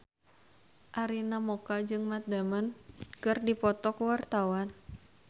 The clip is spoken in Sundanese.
Arina Mocca jeung Matt Damon keur dipoto ku wartawan